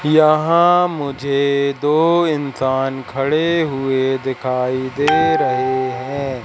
यहां मुझे दो इंसान खड़े हुए दिखाई दे रहे हैं।